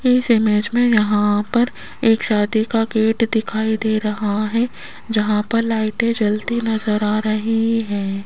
इस इमेज में यहां पर एक शादी का गेट दिखाई दे रहा है जहां पर लाइटे जलती नजर आ रही है।